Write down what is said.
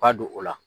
Ka don o la